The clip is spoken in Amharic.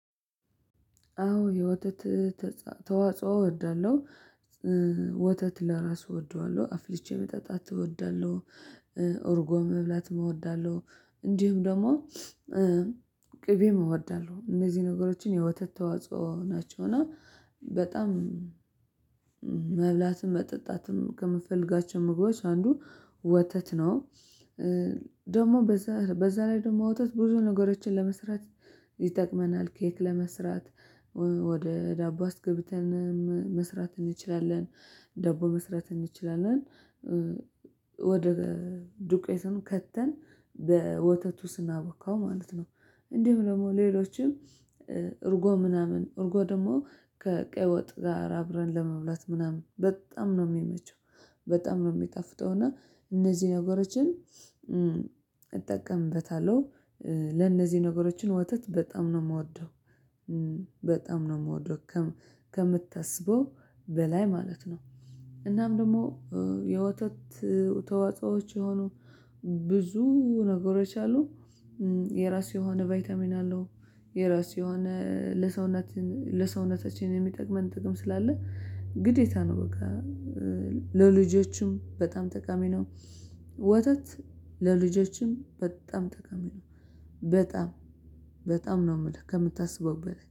አዎ የወተት ተዋጽኦ እወዳለሁ ወተት ለራሱ እወደዋለሁ አፍልቼ መጠጣት እወዳለሁ። እርጎም መብላትም እወዳለሁ እንዲሁ ደግሞ እወዳለሁ እነዚህ ነገሮችን የወተት ተዋጽኦ ናቸው። እና በጣም መብላትም መጠጣትም ከምፈልጋቸው ምግቦች አንዱ ወተት ነው። ደሞ በዛ በዛ ላይ ደግሞ ወተት ብዙ ነገሮችን ለመስራት ይጠቅመናል ኬክ ለመስራት ወደ ዳቦ አስገብተን መስራት እንችላለን ዳቦ መስራት እንችላለን። ወደ ዱቄቱን ከተን በወተቱ ስናቦካው ማለት ነው። እንዲሁ ደግሞ ሌሎችም እርጎ ምናምን እርጎ ደግሞ ከቀይ ወጥ ጋር አብረን ለመብላት ምናምን በጣም ነው ሚመቸው በጣም ነው የሚጣፍጠው እና እነዚህን ነገሮችን እጠቀምበታለሁ። ለእነዚህ ነገሮችን ወተት በጣም ነው ምወደው በጣም ነው ምወደው ከምታስበው በላይ ማለት ነው። እናም ደግሞ የወተት ተዋጾዎች የሆኑ ብዙ ነገሮች አሉ። የራሱ የሆነ ቫይታሚን አለው የራሱ የሆነ ለሰውነት ለሰውነታችን የሚጠቅመን ጥቅም ስላለ ግዴታ ነው በቃ። ለልጆችም በጣም ጠቃሚ ነው። ወተት ለልጆችም በጣም ጠቀሚ ነው በጣም በጣም ነው የምልህ ከምታስበው በላይ